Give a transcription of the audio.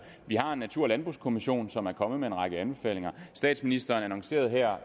vi har natur og landbrugskommissionen som er kommet med en række anbefalinger og statsministeren annoncerede her